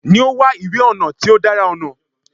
Ni o wa iwe ọnà ti o dara ọnà